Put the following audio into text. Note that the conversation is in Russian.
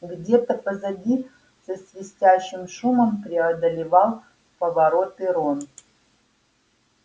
где-то позади со свистящим шумом преодолевал повороты рон